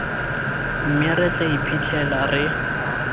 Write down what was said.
mme re tla iphitlhela re